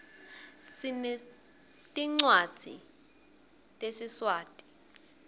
sinetincwadzi tesiswati